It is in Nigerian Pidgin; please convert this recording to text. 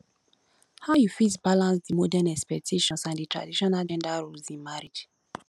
how you fit balance di modern expectations and di traditional gender roles in marriage